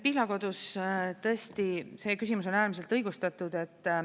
Pihlakodu küsimus on tõesti äärmiselt õigustatud.